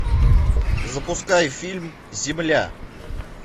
запускай фильм земля